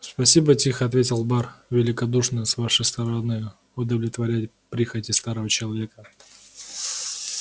спасибо тихо ответил бар великодушно с вашей стороны удовлетворять прихоти старого человека